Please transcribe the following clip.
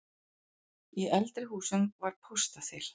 Í eldri húsum var póstaþil.